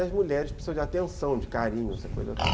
E as mulheres precisam de atenção, de carinho, essa coisa toda.